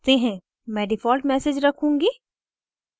मैं default message रखूँगी